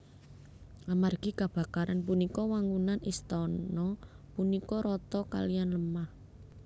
Amargi kabakaran punika wangunan istana punika rata kaliyan lemah